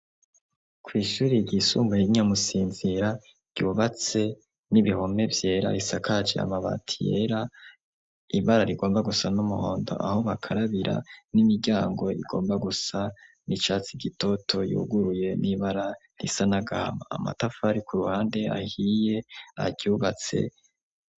Kw'ishuri ryisumbaye rya Musinzira ryubatse n'ibihome vyera risakaje amabati yera ibara rigomba gusa n'umuhondo aho bakarabira n'imiryango igomba gusa n'icatsi gitoto yuguruye n'ibara risa n'agahama amatafari ku ruhande ahiye aryubatse.